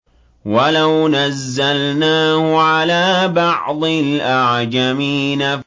وَلَوْ نَزَّلْنَاهُ عَلَىٰ بَعْضِ الْأَعْجَمِينَ